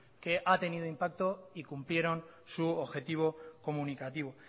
que ha tenido impacto y cumplieron su objetivo comunicativo